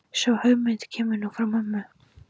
Sú hugmynd kemur nú frá mömmu.